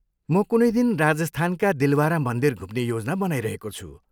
म कुनै दिन राजस्थानका दिलवारा मन्दिर घुम्ने योजना बनाइरहेको छु।